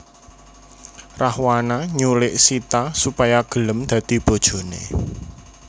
Rahwana nyulik Sita supaya gelem dadi bojoné